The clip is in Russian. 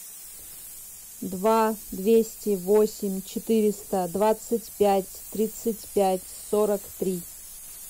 два двести восемь четыреста двадцать пять тридцать пять сорок три